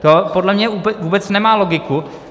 To podle mě vůbec nemá logiku.